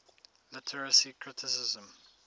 literary criticism